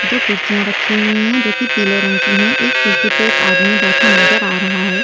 दो कुर्सियां रखी हुई हैं जो कि पीले रंग की हैं एक कुर्सी पे एक आदमी बैठा नजर आ रहा है।